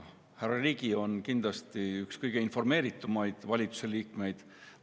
Härra Ligi on kindlasti üks kõige informeeritumaid valitsuse liikmeid.